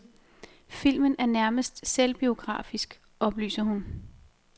Filmen er nærmest selvbiografisk, oplyser hun.